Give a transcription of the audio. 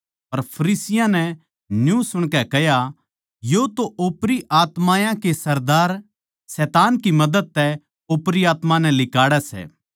पर फरीसियाँ नै न्यू सुणकै कह्या यो तो ओपरी आत्मायाँ के सरदार शैतान की मदद तै ओपरी आत्मायाँ नै लिकाड़ै सै